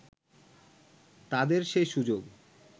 তাদের সেই সুযোগ